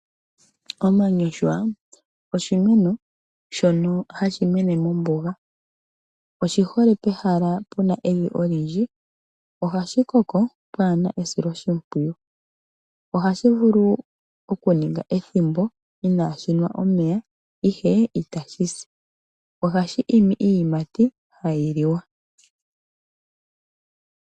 Omanyoshwa oshimeno shono hashi mene mombuga. Oshihole pehala pena evi olindji. Ohashikoko pwaana esiloshipwiyu. Ohashi vulu okuninga ethimbo inaashi nwa omeya ihe itashi si. Ohashi imi iiyimati hayi liwa.